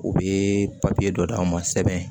U bɛ papiye dɔ d'aw ma sɛbɛn